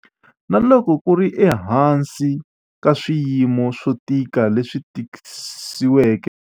Na loko ku ri ehansi ka swiyimo swo tika leswi tisiweke hi ntungukulu, tikokulu ri susumetile ku ya emahlweni na ku kongoma eka xikongomelo xa 'ku mi yeta swibamu' eka tikokulu.